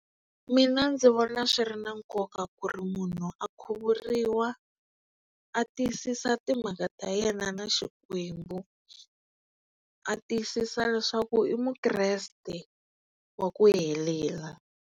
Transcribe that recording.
Mina ndzi vona swi ri na nkoka ku ri munhu a khuvuriwa a tiyisisa timhaka ta yena na Xikwembu a tiyisisa leswaku i mukreste wa ku helela.